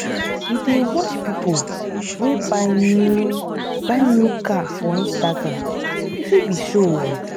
you dey watch people wey buy new buy new car for instagram, e fit be show oo